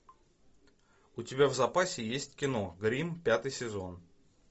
у тебя в запасе есть кино гримм пятый сезон